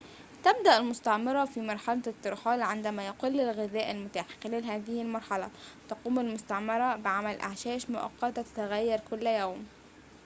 تبدأ المستعمرة في مرحلة الترحال عندما يقل الغذاء المتاح خلال هذه المرحلة تقوم المستعمرة بعمل أعشاش مؤقتة تتغير كل يوم